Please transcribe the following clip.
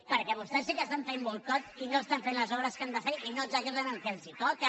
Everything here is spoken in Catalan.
perquè vostès sí que estan fent boicot i no estan fent les obres que han de fer i no executen el que els toca